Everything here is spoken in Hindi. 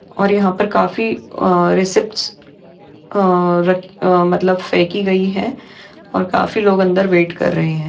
और यहा पर काफी अ रिसिप्टस अ र अ मतलब फेंकी गई है और काफी लोग अंदर वेट कर रहे है।